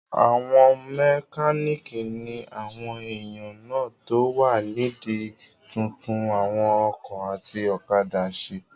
Àwọn mẹkánìkì ní àwọn èèyàn náà tó wà nídi túntún àwọn ọkọ̀ àti òkadà ṣe